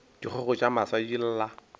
dikgogo tša masa di lla